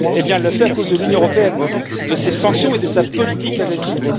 Elle le fait à cause de l'Union européenne, de ses sanctions et de sa politique agressive.